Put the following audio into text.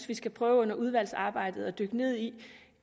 vi skal prøve under udvalgsarbejdet at dykke ned i